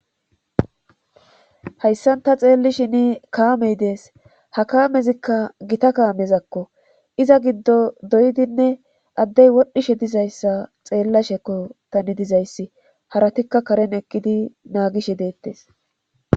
Hayssan ta xeellishini kaamey dees ha kaamezikka gita kaamezakko iza giddo doydinne addey wodhishe dizayssa xeellashekko tani dizayssi haratikka karen eqqidi naagishe deettes.